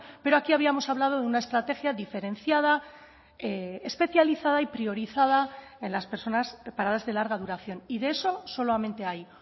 pero aquí habíamos hablado de una estrategia diferenciada especializada y priorizada en las personas paradas de larga duración y de eso solamente hay